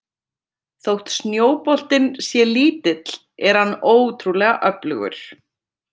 Þótt snjóboltinn sé lítill er hann ótrúlega öflugur.